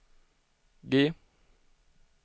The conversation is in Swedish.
G